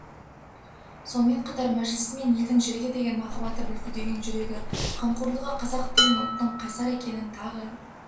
сонымен қатар мәжілісімен елдің жерге деген махаббаты бүлкілдеген жүрегі қамқорлығы қазақ деген ұлттың қайсар екенін тағы